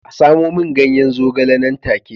A samo min ganyen zogale nan take